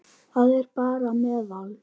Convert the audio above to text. Það er bara meðal.